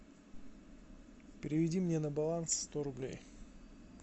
переведи мне на баланс сто рублей